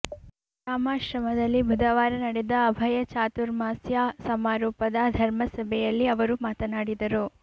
ರಾಮಾಶ್ರಮದಲ್ಲಿ ಬುಧವಾರ ನಡೆದ ಅಭಯ ಚಾತುರ್ಮಾಸ್ಯ ಸಮಾರೋಪದ ಧರ್ಮ ಸಭೆಯಲ್ಲಿ ಅವರು ಮಾತನಾಡಿದರು